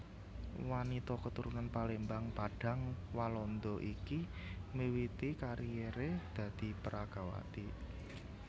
Wanita keturunan Palembang Padang Walanda iki miwiti karieré dadi peragawati